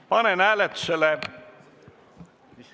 Panen hääletusele ...